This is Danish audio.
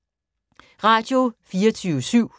Radio24syv